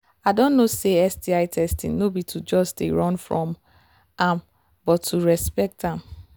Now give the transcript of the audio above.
i don know say sti testing no be to just they run from am but to respect am